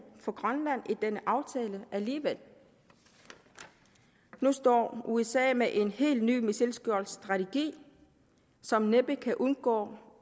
for grønland i denne aftale alligevel nu står usa med en helt ny missilskjoldsstrategi som næppe kan undgå